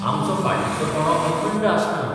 आमचो फाटीचो कणो अखंड आसना.